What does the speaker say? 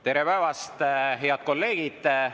Tere päevast, head kolleegid!